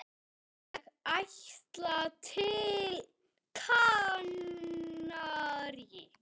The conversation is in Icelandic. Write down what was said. Ég ætla til Kanarí.